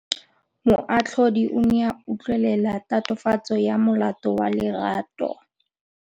Moatlhodi o ne a utlwelela tatofatsô ya molato wa Lerato.